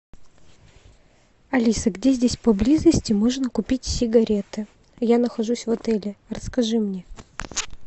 алиса где здесь поблизости можно купить сигареты я нахожусь в отеле расскажи мне